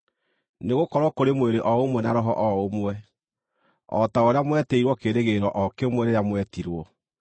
Nĩgũkorwo kũrĩ mwĩrĩ o ũmwe na Roho o ũmwe, o ta ũrĩa mwetĩirwo kĩĩrĩgĩrĩro o kĩmwe rĩrĩa mwetirwo,